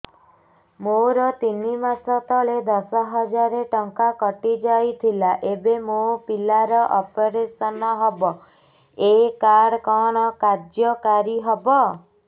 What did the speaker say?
ମୋର ତିନି ମାସ ତଳେ ଦଶ ହଜାର ଟଙ୍କା କଟି ଯାଇଥିଲା ଏବେ ମୋ ପିଲା ର ଅପେରସନ ହବ ଏ କାର୍ଡ କଣ କାର୍ଯ୍ୟ କାରି ହବ